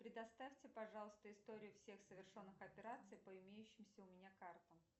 предоставьте пожалуйста историю всех совершенных операций по имеющимся у меня картам